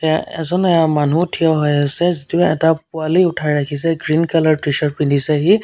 এ-- এজন আ মানুহ থিয় হৈ আছে যিটো এটা পোৱালি উঠাই ৰাখিছে গ্ৰীণ কালাৰ টি-চাৰ্ট পিন্ধিছে সি।